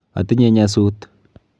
Atinye nyasut.